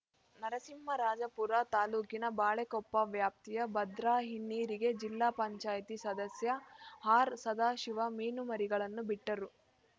ನರಸಿಂಹರಾಜಪುರ ತಾಲೂಕಿನ ಬಾಳೆಕೊಪ್ಪ ವ್ಯಾಪ್ತಿಯ ಭದ್ರಾ ಹಿನ್ನೀರಿಗೆ ಜಿಲ್ಲಾ ಪಂಚಾಯಿತಿ ಸದಸ್ಯ ಆರ್‌ಸದಾಶಿವ ಮೀನುಮರಿಗಳನ್ನು ಬಿಟ್ಟರು